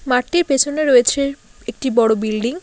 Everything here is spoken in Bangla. মাঠটির পেছনে রয়েছে একটি বড়ো বিল্ডিং ।